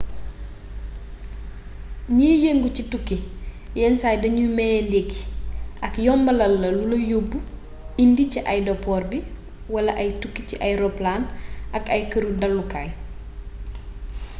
gniy yeengu ci tukki yénn say dagnuy mayé ndékki ak yombalalla lula yobb/indi ci aydapor bi wala ay tukki ci ay roppalan ak ay keereuk dallu kaay